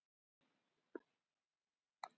Þetta er sami óþjóðalýðurinn á hverju sumri